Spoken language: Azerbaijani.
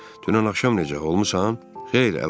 Dünən axşam necə olmusan?